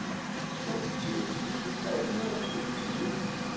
seksogtyve tusind tre hundrede og syvogtyve